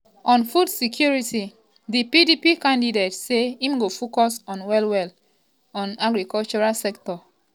on food security di pdp candidate say im go focus on well-well on di agricultural sector.